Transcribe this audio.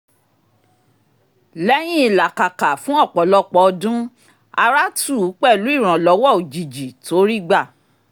lẹ́yìn ìlàkàkà fún ọ̀pọ̀lọpọ̀ ọdún ara tù ú pẹ̀lú ìrànlọ́wọ́ òjijì tó rí gbà